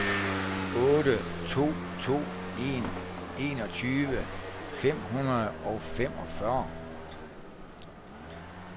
otte to to en enogtyve fem hundrede og femogfyrre